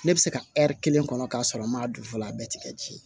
Ne bɛ se ka kelen kɔnɔ k'a sɔrɔ n ma don fɔlɔ a bɛɛ tigɛ